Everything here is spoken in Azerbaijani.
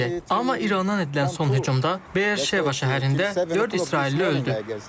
Amma İrandan edilən son hücumda Beer-Şeva şəhərində dörd İsrailli öldü.